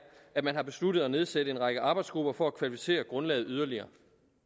at man har besluttet at nedsætte en række arbejdsgrupper for at kvalificere grundlaget yderligere